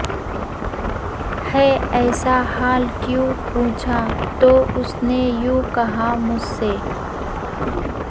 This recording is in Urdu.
ہے ایسا حال کیوں پوچھا تو اس نے یوں کہا مجھ سے